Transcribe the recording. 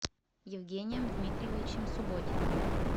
евгением дмитриевичем субботиным